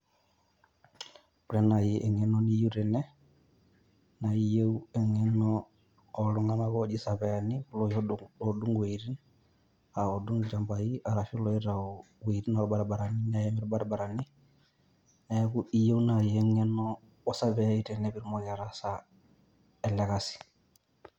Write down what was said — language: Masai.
ore naai eng'eno niyieu tene, naa iyieu eng'eno ooltung'anak ooji isapiyani, iloshi oodung' iwuoitin, oodung' ilchambai arashu ilooitayu iwuoitin oorbaribarani neeim irbaribarani. Neeku iyieu naai eng'eno osapiyai pee itumoki ataasa ele kasi.